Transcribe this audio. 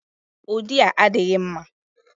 Ụdị a adịghị mma.